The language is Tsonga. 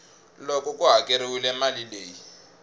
loko ku hakeriwile mali leyi